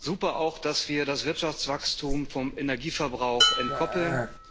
Super auch, dass wir das Wirtschaftswachstum vom Energieverbrauch entkoppeln.